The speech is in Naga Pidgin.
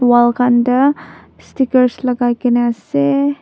wall khan toh stickers khan lakakaei na ase.